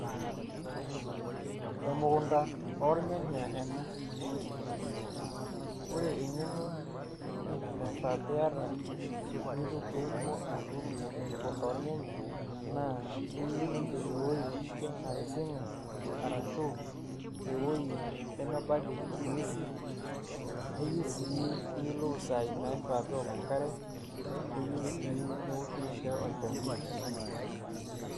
Emukunda olnyanya ena ore eng'eno naifaa pee aita pee itum atuuno emuknda olnyanya naa keyieu ninye ewuei napising'a arashu ewueji nemebaiki ng'uesi, neyieu sii niyiolou isaai naifaa pee eok enkare neyieu sii neoshi ninche olchani.